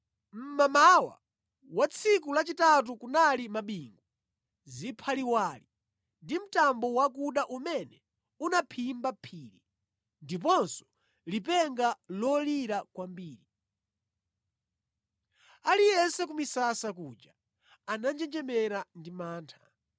Mʼmamawa wa tsiku lachitatu kunali mabingu, ziphaliwali ndi mtambo wakuda umene unaphimba phiri, ndiponso lipenga lolira kwambiri. Aliyense ku misasa kuja ananjenjemera ndi mantha.